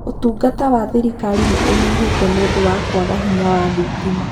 Ũtungata wa thirikari nĩ ũnyihĩte nĩ ũndũ wa kwaga hinya wa thitima